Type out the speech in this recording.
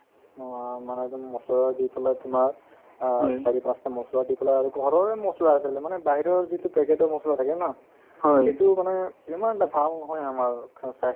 অ, মানে তুমি মছলা দি পেলাই তোমাৰ অ মছলা দি পেলাই আৰু ঘৰৰে মছলা আছে বোলে মানে বাহিৰৰ যিটো packet ৰ মছলা থাকে ন সেইটো মানে ইমান এটা ভাল নহয় আমাৰ